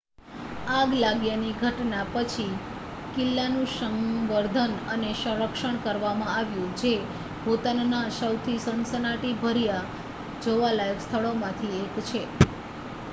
આગ લાગ્યાની ઘટના પછી કિલ્લાનું સંવર્ધન અને સંરક્ષણ કરવામાં આવ્યું જે ભૂતાનના સૌથી સનસનાટીભર્યા જોવાલાયક સ્થળોમાંથી એક છે